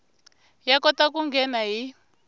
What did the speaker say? ya kota ku nghena hi